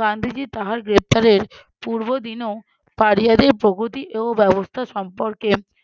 গান্ধীজী তাহার গ্রেপ্তারের পূর্ব দিনও পাড়িয়াদের প্রগতি এর ও ব্যবস্থা সম্পর্কে